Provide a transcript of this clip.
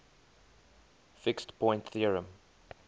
fixed point theorem